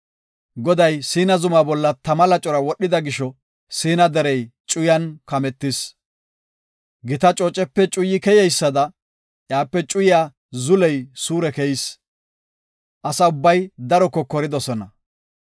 Goday Siina zumaa bolla tama lacora wodhida gisho Siina derey cuyan kametis. Gita coocepe cuyi keyeysada iyape cuyiya zuley suure keyis. Asa ubbay daro kokoridosona.